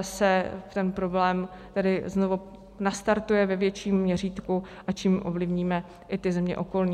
se ten problém tedy znovu nastartuje ve větším měřítku, a tím ovlivníme i ty země okolní.